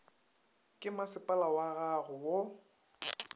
ke masepala wag ago go